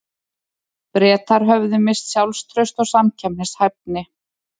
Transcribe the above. Bretar höfðu misst sjálfstraust og samkeppnishæfni.